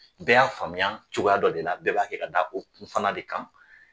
Bɛɛ y'a faamuya cogoya dɔ de la , bɛɛ b'a kɛ ka da o kun fana de kan.